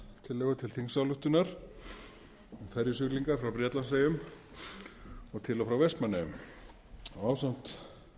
tillögu til þingsályktunar um ferjusiglingar frá bretlandseyjum og til og frá vestmannaeyjum ásamt